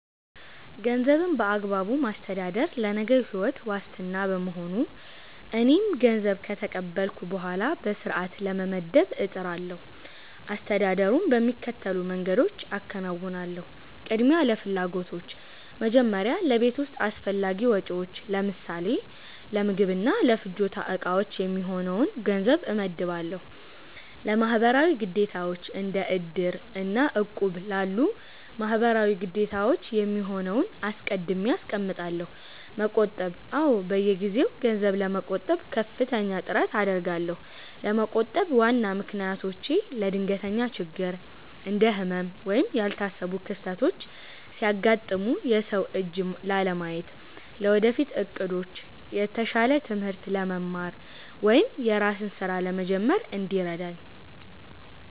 ገንዘብን በአግባቡ ማስተዳደር ለነገው ሕይወት ዋስትና በመሆኑ፣ እኔም ገንዘብ ከተቀበልኩ በኋላ በሥርዓት ለመመደብ እጥራለሁ። አስተዳደሩን በሚከተሉት መንገዶች አከናውናለሁ፦ ቅድሚያ ለፍላጎቶች፦ መጀመሪያ ለቤት ውስጥ አስፈላጊ ወጪዎች (ለምሳሌ ለምግብና ለፍጆታ ዕቃዎች) የሚሆነውን ገንዘብ እመድባለሁ። ለማህበራዊ ግዴታዎች፦ እንደ "እድር" እና "እቁብ" ላሉ ማህበራዊ ግዴታዎች የሚሆነውን አስቀድሜ አስቀምጣለሁ። መቆጠብ፦ አዎ፣ በየጊዜው ገንዘብ ለመቆጠብ ከፍተኛ ጥረት አደርጋለሁ። ለመቆጠብ ዋና ምክንያቶቼ፦ ለድንገተኛ ችግር፦ እንደ ህመም ወይም ያልታሰቡ ክስተቶች ሲያጋጥሙ የሰው እጅ ላለማየት። ለወደፊት ዕቅዶች፦ የተሻለ ትምህርት ለመማር ወይም የራስን ሥራ ለመጀመር እንዲረዳኝ።